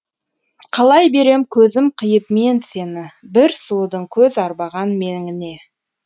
қалай берем көзім қиып мен сені бір сұлудың көз арбаған меңіне